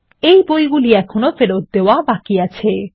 এই বইগুলি এখনো ফেরত দেওয়া বাকি আছে